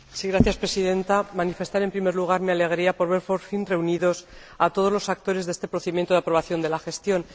Señora Presidenta, quiero manifestar en primer lugar mi alegría por ver por fin reunidos a todos los actores de este procedimiento de aprobación de la gestión.